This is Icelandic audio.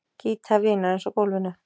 Gítar vinarins á gólfinu.